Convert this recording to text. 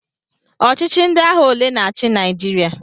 Ọchịchị ndị agha ole na-achị Naịjirịa?